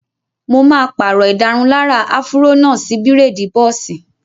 Mo máa pàrọ̀ ìdárunlárà áfúró náà sí bírèèdì bọ́ọ̀sì